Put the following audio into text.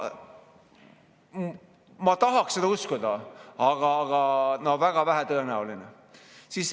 Ma tahaks seda uskuda, aga no väga vähe tõenäoline.